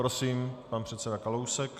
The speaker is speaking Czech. Prosím, pan předseda Kalousek.